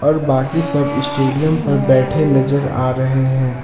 और बाकी सब स्टेडियम पर बैठे नजर आ रहे हैं।